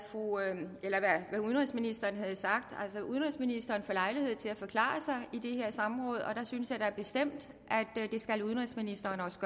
udenrigsministeren havde sagt udenrigsministeren får lejlighed til at forklare sig i det her samråd og der synes jeg da bestemt at udenrigsministeren også